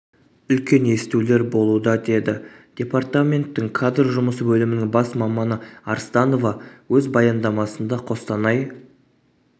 үлкен естулер болуда деді департаменттің кадр жұмысы бөлімінің бас маманы арстанова өз баяндамасында қостанай